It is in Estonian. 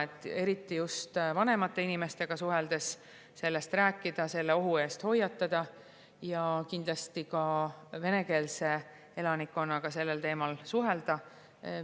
Eriti vanemate inimestega sellest rääkida, sellise ohu eest hoiatada, ja kindlasti ka venekeelse elanikkonnaga sellel teemal suhelda.